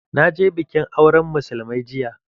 Na je bikin auran musulmai jiya.